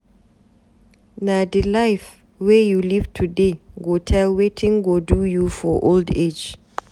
Na di life wey you live today go tell wetin go do you for old age.